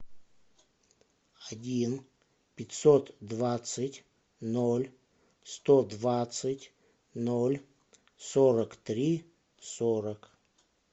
один пятьсот двадцать ноль сто двадцать ноль сорок три сорок